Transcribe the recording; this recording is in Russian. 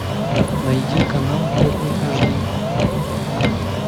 найди канал первый аш ди